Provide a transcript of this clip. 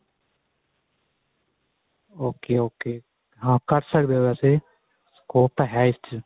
ok ok ਹਾਂ ਕਰ ਸਕਦੇ ਓ ਵੈਸੇ ਉਹ ਤਾਂ ਹੈ ਇਸ ਚੀਜ